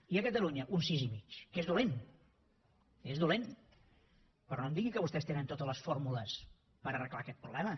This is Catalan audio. i a catalunya un sis i mig que és dolent és dolent però no em digui que vostès tenen totes les fórmules per arreglar aquest problema